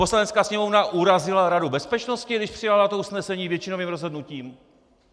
Poslanecká sněmovna urazila Radu bezpečnosti, když přijala toto usnesení většinovým rozhodnutím?